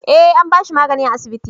eh an bashi magani a asibiti